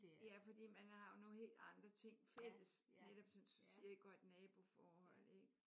Ja fordi man har jo nogle helt andre ting fælles netop som du siger et godt naboforhold ik?